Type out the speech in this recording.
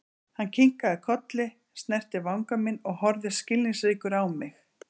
Hann kinkaði kolli, snerti vanga minn og horfði skilningsríkur á mig.